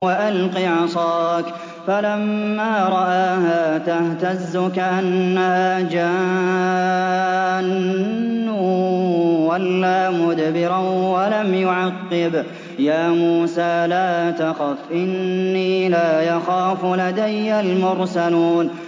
وَأَلْقِ عَصَاكَ ۚ فَلَمَّا رَآهَا تَهْتَزُّ كَأَنَّهَا جَانٌّ وَلَّىٰ مُدْبِرًا وَلَمْ يُعَقِّبْ ۚ يَا مُوسَىٰ لَا تَخَفْ إِنِّي لَا يَخَافُ لَدَيَّ الْمُرْسَلُونَ